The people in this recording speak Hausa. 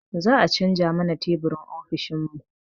Za a canza mana teburin ofishin mu